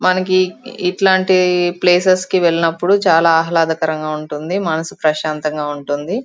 మనకి ఇట్లాంటి ప్లేసెస్ కి వెళ్ళినప్పుడు చాలా ఆహ్లాదకరంగా ఉంటుంది. మనసు ప్రశాంతంగా ఉంటుంది.